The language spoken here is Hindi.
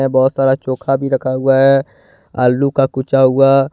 बहोत सारा चोखा भी रखा हुआ है आलू का कूचा हुआ।